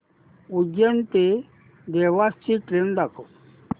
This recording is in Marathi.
उज्जैन ते देवास ची ट्रेन दाखव